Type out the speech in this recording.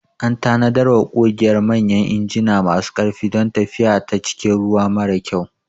An tanadarwa ƙugiyar manyan injina masu ƙarfi don tafiya ta cikin ruwa mara kyau.